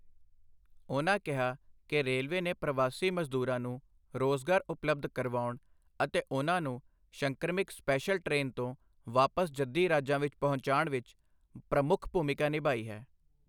ਉਨ੍ਹਾਂ ਕਿਹਾ ਕਿ ਰੇਲਵੇ ਨੇ ਪ੍ਰਵਾਸੀ ਮਜ਼ਦੂਰਾਂ ਨੂੰ ਰੋਜ਼ਗਾਰ ਉਪਲਬਧ ਕਰਵਾਉਣ ਅਤੇ ਉਨ੍ਹਾਂ ਨੂੰ ਸ਼ੰਕਰਮਿਕ ਸਪੈਸ਼ਲ ਟ੍ਰੇਨ ਤੋਂ ਵਾਪਸ ਜੱਦੀ ਰਾਜਾਂ ਵਿੱਚ ਪਹੁੰਚਾਉਣ ਵਿੱਚ ਪ੍ਰਮੁੱਖ ਭੂਮਿਕਾ ਨਿਭਾਈ ਹੈ।